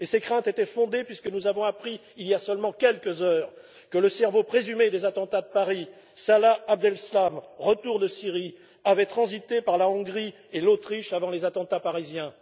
Ses craintes étaient fondées puisque nous avons appris, il y a seulement quelques heures, que le cerveau présumé des attentats de Paris, Salah Abdeslam, de retour de Syrie, avait transité par la Hongrie et l'Autriche avant les attentats parisiens.